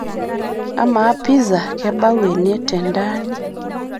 amaa piza kebau ene tentaani